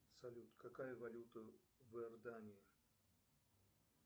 салют какая валюта в иордании